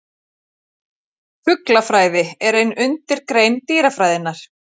Fuglafræði er ein undirgrein dýrafræðinnar.